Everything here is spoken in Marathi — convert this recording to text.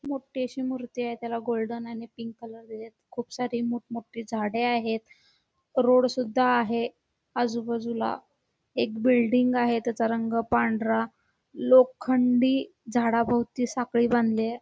मोठी अशी मूर्ती आहे त्याला गोल्डन आणि पिंक कलर दिलेत खूप सारी मोठं मोठी झाडे आहेत रोड सुद्धा आहे आजूबाजूला एक बिल्डिंग आहे एक बिल्डिंग आहे त्याच्या रंग पांढरा लोखंडी झाडाभोवती साखळी बांधलीय.